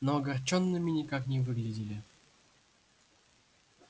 но огорчёнными никак не выглядели